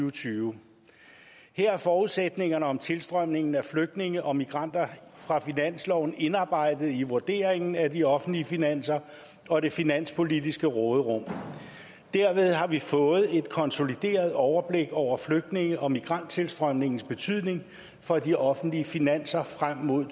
og tyve her er forudsætningerne om tilstrømningen af flygtninge og migranter fra finansloven indarbejdet i vurderingen af de offentlige finanser og det finanspolitiske råderum dermed har vi fået et konsolideret overblik over flygtninge og migranttilstrømningens betydning for de offentlige finanser frem mod